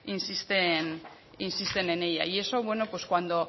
insisten en ella y eso cuando